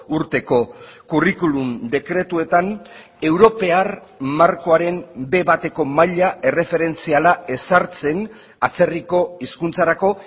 urteko kurrikulum dekretuetan europar markoaren be bateko maila erreferentziala ezartzen atzerriko hizkuntzarako